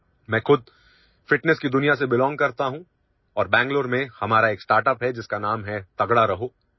মই নিজেও ফিটনেছৰ জগতখনৰ অন্তৰ্গত আৰু বাংগালুৰুত আমাৰ এটা ষ্টাৰ্টআপ আছে যাৰ নাম তাগৰা ৰহো